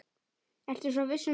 Ertu svo viss um það?